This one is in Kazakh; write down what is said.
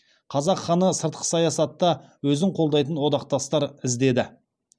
қазақ ханы сыртқы саясатта өзін қолдайтын одақтастар іздеді